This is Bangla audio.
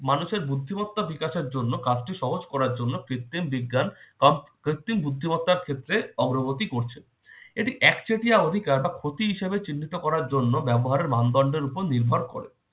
মানুষের বুদ্ধিমত্তা বিকাশের জন্য কাজকে সহজ করার জন্য কৃত্রিম বিজ্ঞান কম~ কৃত্রিম বুদ্ধিমত্তার ক্ষেত্রে অগ্রগতি করছে। এটি এক চেটিয়া অধিকার বা ক্ষতি হিসেবে চিহ্নিত করার জন্য ব্যবহারের মানদণ্ডের উপর নির্ভর করে।